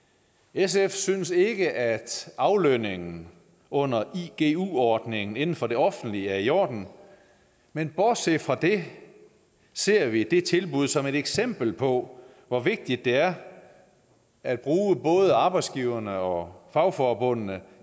sf synes ikke at aflønningen under igu ordningen inden for det offentlige er i orden men bortset fra det ser vi det tilbud som et eksempel på hvor vigtigt det er at bruge både arbejdsgiverne og fagforbundene